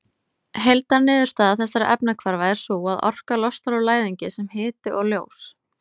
Heildarniðurstaða þessara efnahvarfa er sú að orka losnar úr læðingi sem hiti og ljós.